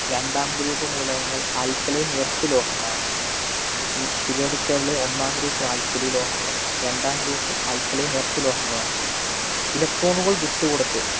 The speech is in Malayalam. രണ്ടാം group മൂലകങ്ങള്‍ alkaline earth ലോഹങ്ങളാണ്. ഈ periodic table ള് ഒന്നാം groupalkali ലോഹങ്ങളും രണ്ടാം groupalkaline earth ലോഹങ്ങളുമാണ്. electron കള്‍ വിട്ടുകൊടുത്ത്